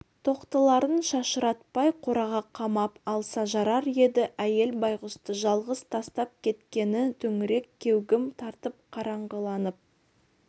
тоқтыларын шашыратпай қораға қамап алса жарар еді әйел байғұсты жалғыз тастап кеткені төңірек кеугім тартып қараңғыланып